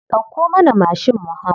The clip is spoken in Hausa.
Dauko mana mashin mu hau.